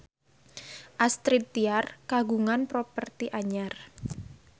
Astrid Tiar kagungan properti anyar